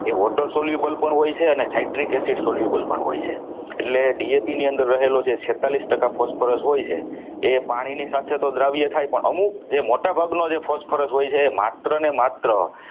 તે water soluble પણ હોય છે અને psychiatric acid soluble પણ હોય છે એટલે DAP ની અંદર રહેલું છે છેતાલીશ ટકા phosphorus હોય છે એ પાણીની સાથે તો દ્રાવ્ય થાય પણ અમુક જે મોટાભાગનું phosphorus હોય છે એ માત્રને માત્ર